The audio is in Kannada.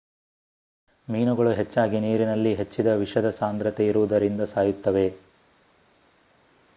ಮೀನುಗಳು ಹೆಚ್ಚಾಗಿ ನೀರಿನಲ್ಲಿ ಹೆಚ್ಚಿನ ವಿಷದ ಸಾಂದ್ರತೆ ಇರುವುದರಿಂದ ಸಾಯುತ್ತವೆ